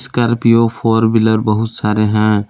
कॉर्पियो four wheeler बहुत सारे हैं।